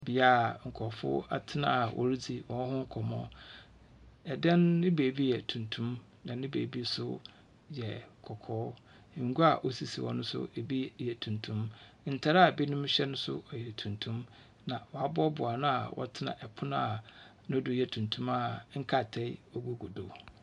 Bea a nkorɔfo atsena a woridzi hɔnho nkɔmbɔ, dan no ne bi yɛ tuntum na ne beebi so yɛ kɔkɔɔ, ngua a osisi hɔ no so bi yɛ tuntum. Ntar a binom hyɛ no so yɛ tuntum na wɔaboaboa ano a wɔtsetse pon a no do yɛ tuntum a nkrataa gugu do.